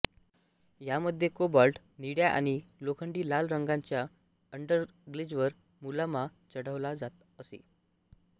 या मध्ये कोबाल्ट निळ्या आणि लोखंडी लाल रंगाच्या अंडरग्लेजवर मुलामा चढवला जात असे